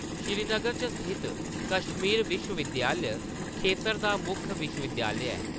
श्रीनगर च स्थित कश्मीर विश्वविद्यालय खेतर दा मुक्ख विश्वविद्यालय ऐ।